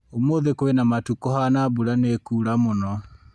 Ũmũthĩ kwĩna matu kũhana mbura nĩ ĩkũra mũno